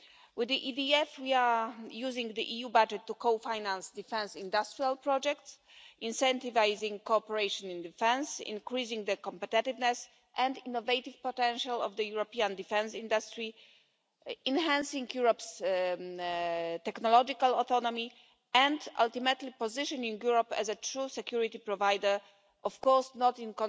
With the EDF we are using the EU budget to co finance defence industrial projects, incentivising cooperation in defence, increasing the competitiveness and innovative potential of the European defence industry, enhancing Europe's technological autonomy and, ultimately, positioning Europe as a true security provider, of course not in